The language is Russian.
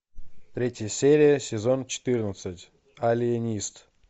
третья серия сезон четырнадцать алиенист